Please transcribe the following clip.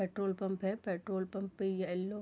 petrol pump है petrol pump पे yellow --